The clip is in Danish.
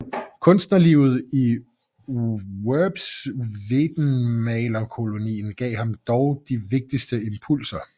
Kunstnerlivet i Worpswedemalerkolonien gav ham dog de vigtigste impulser